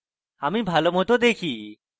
আমি ভালো মত দেখি